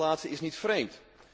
En dat laatste is niet vreemd.